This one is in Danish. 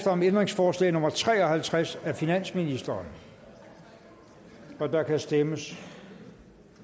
om ændringsforslag nummer tre og halvtreds af finansministeren og der kan stemmes